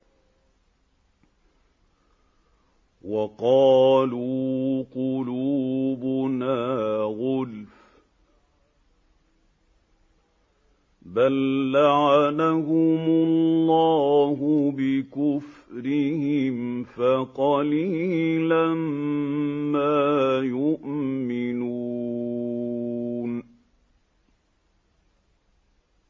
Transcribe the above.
وَقَالُوا قُلُوبُنَا غُلْفٌ ۚ بَل لَّعَنَهُمُ اللَّهُ بِكُفْرِهِمْ فَقَلِيلًا مَّا يُؤْمِنُونَ